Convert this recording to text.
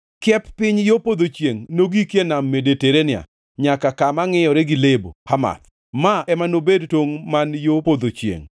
Kiep piny gi yo podho chiengʼ nogiki e Nam Mediterania nyaka kama ngʼiyore gi Lebo Hamath. Ma ema nobed tongʼ man yo podho chiengʼ.